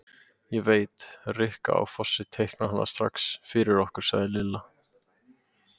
Ég veit, Rikka á Fossi teiknar hana strax fyrir okkur sagði Lilla.